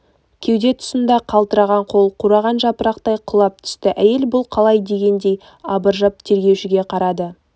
кеуде тұсында қалтыраған қол қураған жапырақтай құлап түсті әйел бұл қалай дегендей абыржып тергеушіге қарады